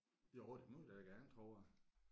Jo det må vi da gerne tror jeg